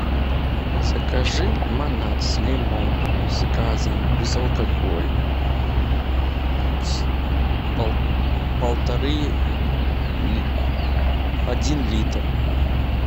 закажи лимонад с лимоном с газом безалкогольный с полторы один литр